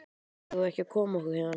Eigum við ekki að koma okkur héðan?